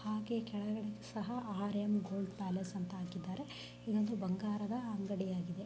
ಹಾಗೆ ಕೆಳಗೆ ಸಹ ಆರ್_ಎಮ್ ಗೋಲ್ಡ್ ಪ್ಯಾಲೇಸ್ ಅಂತ ಹಾಕಿದ್ದರೆ ಇದೊಂದು ಬಂಗಾರದ ಅಂಗಡಿಯಾಗಿದೆ.